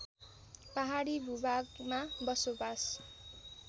पहाडी भूभागमा बसोबास